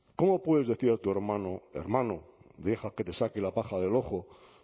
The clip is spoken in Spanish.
cómo puedes decir a tu hermano hermano deja que te saque la paja del ojo